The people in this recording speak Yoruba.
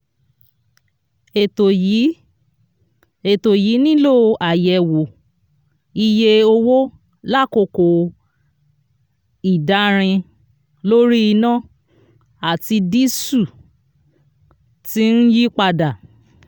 ètò yìí ètò yìí nílò àyẹ̀wò iye owó lákòókò ìdárin ( one / four ) lórí iná àti dísù tí ń yípadà.